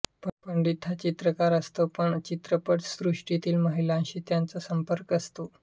पंडित हा चित्रकार असतो आणि चित्रपट सृष्टीतील महिलांशी त्याचा संपर्क असतो